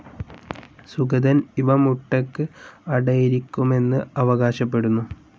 സുഗതൻ ഇവ മുട്ടയ്ക്ക് അടയിരിക്കുമെന്ന് അവകാശപ്പെടുന്നു.